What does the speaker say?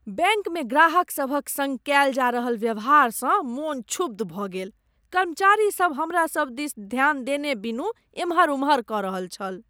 बैंकमे ग्राहक सभक सङ्ग कयल जा रहल व्यवहारसँ मन क्षुब्ध भऽ गेल, कर्मचारीसब हमरा सब दिस ध्यान देने बिनु एम्हर ओम्हर कऽ रहल छल।